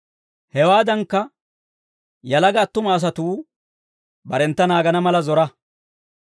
Hewaadankka yalaga attuma asatuu barentta naagana mala zora.